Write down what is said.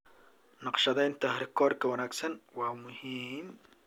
Naqshadeynta rikoorka wanaagsan waa muhiim.